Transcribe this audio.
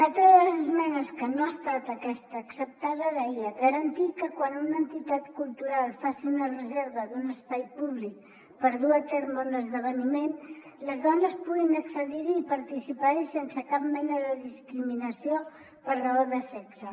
una altra de les esmenes que no ha estat acceptada deia garantir que quan una entitat cultural faci una reserva d’un espai públic per dur a terme un esdeveniment les dones puguin accedir hi i participar hi sense cap mena de discriminació per raó de sexe